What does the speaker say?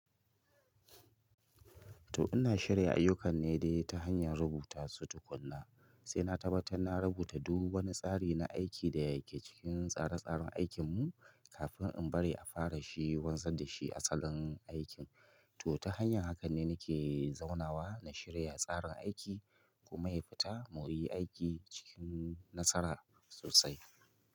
Toh ina shirya ayyukan ne dai ta hanyar rubuta su tukuna, sai na tabbatar na rubuta duk wani tsari na aiki da yake cikin tsare-tsaren aikinmu kafin in bari a fara shi wanzar da shi asalin aikin. Toh ta hanyar hakan ne nake zaunawa na shirya tsarin aiki kuma ya fita mu yi aiki cikin nasara sosai.